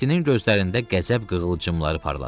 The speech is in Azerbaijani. Mehdinin gözlərində qəzəb qığılcımları parladı.